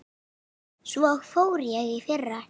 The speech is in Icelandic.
Svo fór ég í fyrra.